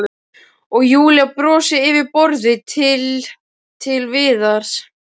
Og Júlía brosir yfir borðið til- Til Viðars.